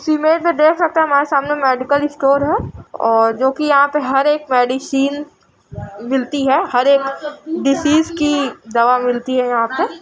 इस इमेज में देख सकते है हमारे सामने मेडिकल स्टोर है और जोकि यहाँ पे हर एक मेडिसीन मिलती है| हर एक डिसीस की दवा मिलती हैं यहाँ पे |